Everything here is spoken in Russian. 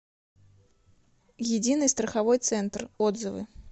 единый страховой центр отзывы